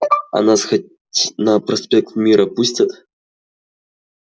а нас хоть на проспект мира пустят